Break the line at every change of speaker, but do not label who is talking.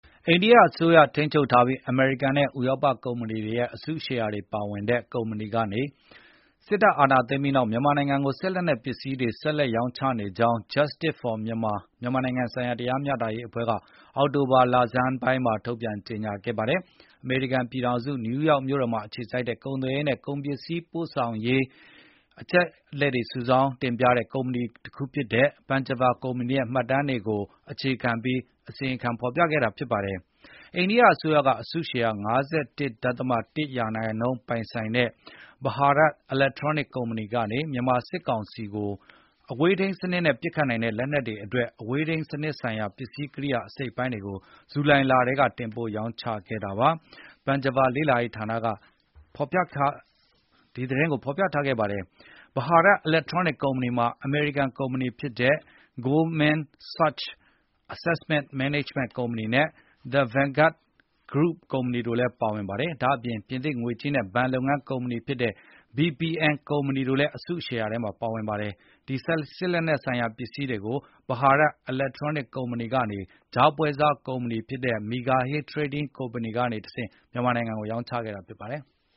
အိန္ဒိယအစိုးရထိန်းချုပ်ထားပြီး အမေရိကန် နဲ ဥရောပ ကုမ္ပဏီတွေရဲ့ အစုရှယ်ယာတွေပါဝင်တဲ့ ကုမ္ပဏီကနေ စစ်တပ်အာဏာသိမ်းပြီးနောက်မြန်မာနိုင်ငံကိုလက်စစ်လက်နှက်ပစ္စည်းတွေဆက်လက် ရောင်းချနေကြောင်း Justic For Myanmar “မြန်မာနိုင်ငံဆိုင်ရာတရားမျှတရေးအဖွဲ့”က အောက်တို ဘာလဆန်းပိုင်းမှာ ထုတ်ပြန်ကြေငြာခဲ့ပါတယ်။ အမေရိကန်ပြည်ထောင်စု နယူးယောက်မြို့တော်မှာ အခြေစိုက်တဲ့ ကုန်သွယ်ရေးနဲ့ ကုန်ပစ္စည်းပို့ဆောင်ရေး အချက်အလက်တွေစုဆောင်းတဲ့ကုမ္ပဏီတခုဖြစ်တဲ့ Panjiva ရဲ့မှတ်တမ်းတွေအပေါ်အခြေခံပြီးအစီရင်ခံခဲ့တာဖြစ်ပါတယ်။ အိန္ဒိယအစိုးရက အစုရှယ်ယာ ၅၁ ဒဿမ ၁ ရာနှုန်းပိုင်ဆိုင်တဲ့ Bharat Electronic ကုမ္ပဏီကနေ မြန်မာစစ်ကောင်စီကို အဝေးထိမ်းစနစ်နဲ့ ပစ်ခတ်နိုင်တဲ့လက်နက်တွေအတွက် အဝေးထိန်းစနစ်ဆိုင်ရာ ပစ္စည်းကရိယာအစိတ်အပိုင်းတွေကို ဇူလိုင်လထဲကတင်ပို့ရောင်းချခဲ့ကြောင်း Panjiva လေ့လာရေးဌာန ကဖေါ်ပြထားပါတယ်။ Bharat Electronic ကုမ္ပဏီမှာ အမေရိကန်ကုမ္ပဏီဖြစ်တဲ့ Goldman Sachs Asset Management ကုမ္ပဏီနဲ့ The Vanguard Grop ကုမ္ပဏီတို့တိုလည်းအစုရှယ်ယာပါဝင်ပါတယ်။ ဒါ့အပြင် ပြင်သစ် ငွေကြေးနဲ့ဘဏ်လုပ်ငန်းကုမ္ပဏီ ဖြစ်တဲ့ BNP Paribas တို့လည်းအစုရှယ်ယာတွေပါဝင်ပါတယ်။ ဒီစစ်လက်နှက်ဆိုင်ရာပစ္စည်းတွေကို Bharat Electronic ကုမ္ပဏီကနေ ကြားပွဲစားကုမ္ပဏီဖြစ်တဲ့ Mega Hill Trading Company ကနေတဆင့်မြန်မာစစ်အစိုးရကိုရောင်းချခဲ့တာဖြစ်ပါတယ်။